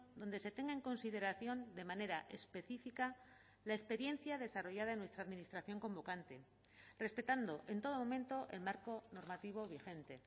donde se tenga en consideración de manera específica la experiencia desarrollada en nuestra administración convocante respetando en todo momento el marco normativo vigente